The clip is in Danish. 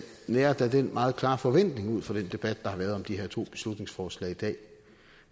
nærer den meget klare forventning ud fra den debat der har været om de her to beslutningsforslag i dag